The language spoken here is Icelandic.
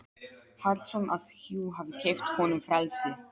Hallsson að hjú hafi keypt honum frelsi.